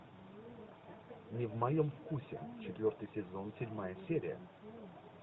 не в моем вкусе четвертый сезон седьмая серия